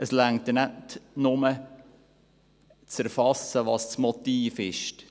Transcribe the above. Es reicht nicht, nur zu erfassen, welches das Motiv ist.